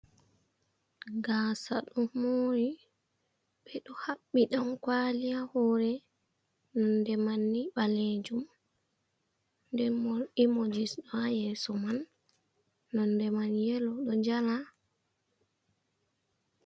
Gasa do mori be do habbi dan kwali hore nonde manni balejum denbo emojis do ha yeso man nonde man yelo do jala.